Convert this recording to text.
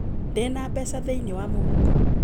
Ndi na mbeca thĩiniĩ wa mũhuko